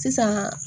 Sisan